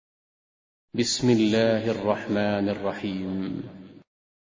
بِسْمِ اللَّهِ الرَّحْمَٰنِ الرَّحِيمِ